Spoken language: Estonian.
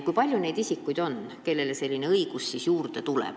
Kui palju on neid isikuid, kellele selline õigus nüüd juurde tuleb?